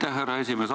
Aitäh, härra esimees!